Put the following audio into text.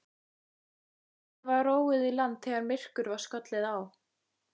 Kafteini var róið í land þegar myrkur var skollið á.